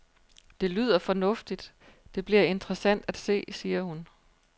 Det lyder fornuftigt, det bliver interessant at se, siger hun.